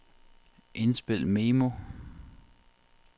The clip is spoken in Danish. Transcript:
indspil memo